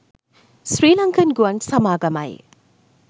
ශ්‍රී ලංකන් ගුවන් සමාගමයි